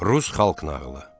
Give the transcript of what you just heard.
Rus xalq nağılı.